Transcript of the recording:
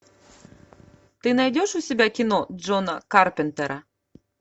ты найдешь у себя кино джона карпентера